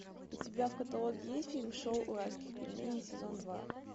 у тебя в каталоге есть фильм шоу уральских пельменей сезон два